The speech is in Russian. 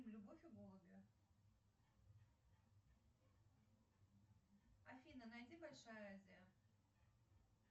любовь и голуби афина найди большая азия